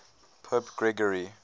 pope gregory